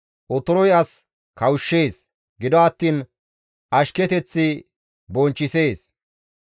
Otoroy as kawushshees; gido attiin ashketeththi bonchchisees.